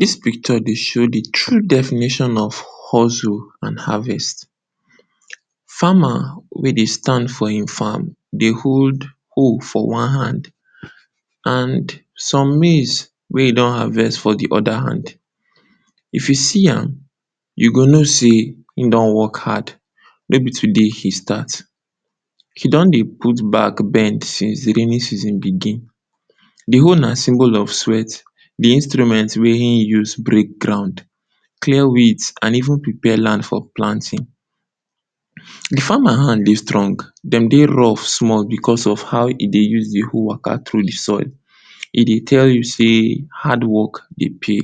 Dis picture dey show de true definition of hustle and harvest. Farmer wey dey stand for im farm dey hold hoe for one hand and some maize wey e don harvest for de other hand. If you see am, you go know sey im don work hard. No be today im start, e don dey put back bend since raining season begin. De hoe na symbol of sweat, de instrument wey im use break ground, clear weeds and even prepare land for planting. De farmer hand dey strong, dem dey rough small because of how e dey take use de hoe waka through de soil. E dey tell you sey hard work dey pay.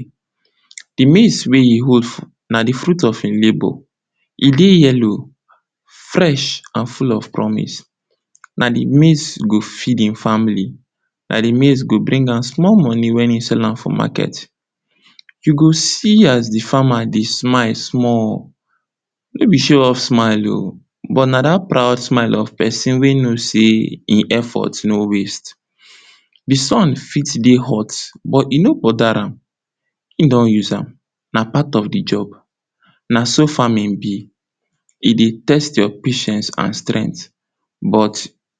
De maize wey e hold na de fruit of im labor, e dey yellow, fresh and full of promise. Na de maize go feed im family, na de maize go bring am small money wen e sell am for market. You go see as de farmer dey smile small, no be show off smile oo, but na dat proud smile of pesin wey know sey im effort no waste.De sun fit dey hot, but e no bother am, im don use am na part of de job. Na so farming be, e dey test your patience and strength but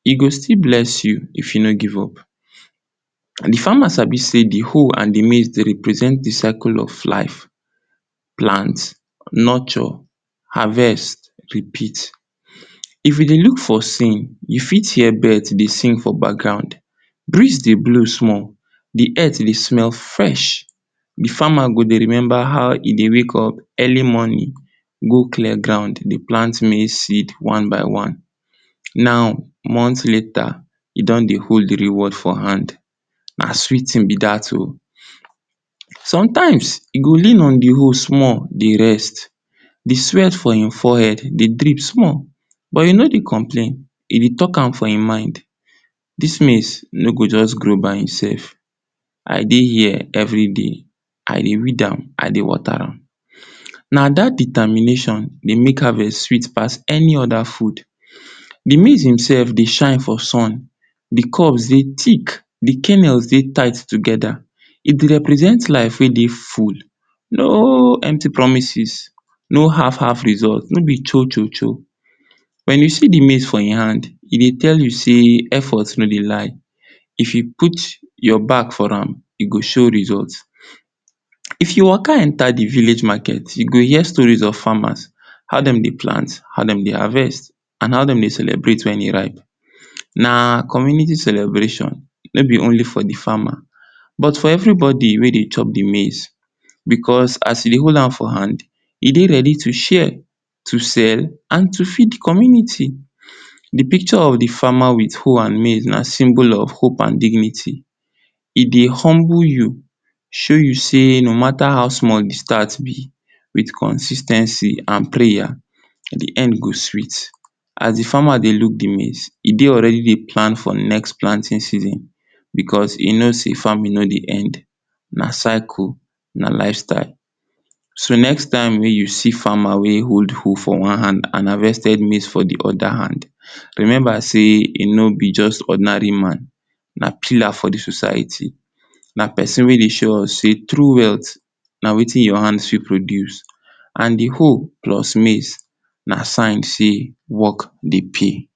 e go still bless you if you no give up. De farmer sabi sey de hoe and de maize dey represent de cycle of life, plant, nurture, harvest, repeat. If you dey look for, you fit hear birds dey sing for background, breeze dey blow small, de earth dey smell fresh, de farmer go dey remember how e dey wake early morning go clear ground dey plant maize seed one by one. Now months later e don dey hold de reward for hand, na sweet thing be dat oo. Sometimes, e go lean on de hoe small dey rest, de sweat for im forehead dey drip small but e no dey complain, e dey talk am for im mind. Dis maize no go just grow by im self, I dey here every day, I dey weed am, I dey water am. Na dat determination dey make harvest sweet pass any other food. De maize himself dey shine for sun because of sey thick de cannels dey tied together. E dey represent life wey dey full, no empty promises, na half-half result, no be cho-cho-cho. Wen you see de maize for im hand, e dey tell you sey effort no dey lie. If you put your back for am, e go show result. If you waka enter de village market, you go hear stories of farmers, how dem dey plant, how dem dey harvest, and how dem dey celebrate wen e ripe. Na community celebration, no be only for de farmer but for everybody wey dey chop de maize. Because, as e dey hold am for hand, e dey ready to share, to sell and to feed community. De picture of de farmer with hoe and maize na symbol of hope and dignity. E dey humble you, show you sey no matter how small de start be, with consis ten cy and prayer de end go sweet. As de farmer dey look de maize e dey already dey plan for de next planting season because e know sey farming no dey end. Na cycle, na life style. So, next wey you see farmer wey hold hoe for one hand and harvested maize for de other hand. Remember sey e no be just ordinary man, na pillar for de society, na pesin wey dey show us sey true wealth na wetin your hand fit produce and de hoe plus maize na sign sey work dey pay.